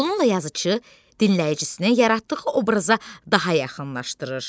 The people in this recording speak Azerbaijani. Bununla yazıçı dinləyicisini yaratdığı obraza daha yaxınlaşdırır.